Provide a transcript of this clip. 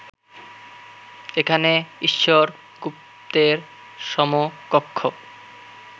এখানে ঈশ্বর গুপ্তের সমকক্ষ